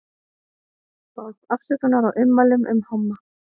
Baðst afsökunar á ummælum um homma